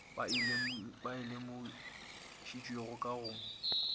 ba e lemošitšwego ka go